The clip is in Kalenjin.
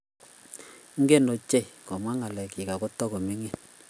Ingen ochei komwaa ngalekchik ago tigo mining